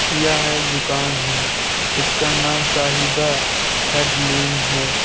यह दुकान है। इसका नाम साहिबा हेडलूम है।